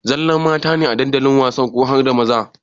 Zallar mata ne a dandalin wasan ko harda maza?